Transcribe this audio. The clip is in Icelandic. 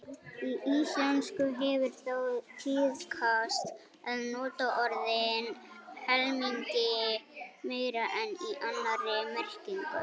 Í íslensku hefur þó tíðkast að nota orðin helmingi meira en í annarri merkingu.